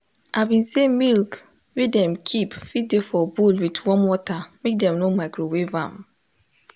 i been say milk wey dem keep fit de for bowl with warm water make dem no microwave am